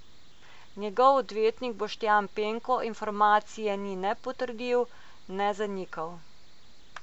Njegov odvetnik Boštjan Penko informacije ni ne potrdil ne zanikal.